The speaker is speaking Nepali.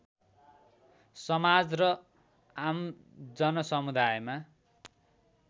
समाज र आमजनसमुदायमा